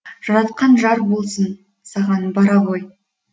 жаратқан жар болсын саған бара ғой